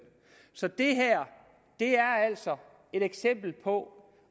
så det her er altså et eksempel på